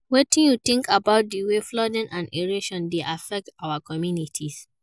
Wetin you think about di way flooding and erosion dey affect our communities?